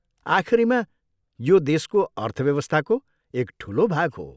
आखिरीमा, यो देशको अर्थव्यवस्थाको एक ठुलो भाग हो।